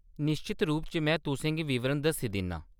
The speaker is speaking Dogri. निश्चत रूप च में तुसें गी विवरण दस्सी दिन्ना।